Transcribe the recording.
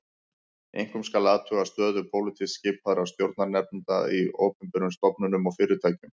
Einkum skal athuga stöðu pólitískt skipaðra stjórnarnefnda í opinberum stofnunum og fyrirtækjum